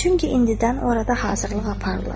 Çünki indidən orada hazırlıq aparılır.